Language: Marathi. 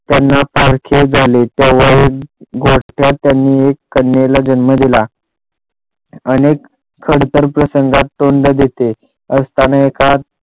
त्यांना सारखेच झाले तेव्हा त्यांनी गोठ्यात एक कन्येला जन्म दिला अनेक खडतर प्रसंगात तोंड देत असताना एका